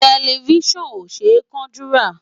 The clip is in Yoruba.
Tẹlifíṣàn ò ṣe é kánjú rà.